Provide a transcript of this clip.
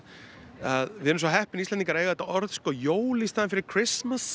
að við erum svo heppin Íslendingar að eiga þetta orð jól í staðinn fyrir